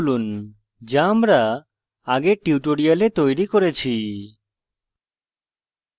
student class খুলুন যা আমরা আগের tutorial তৈরী করেছি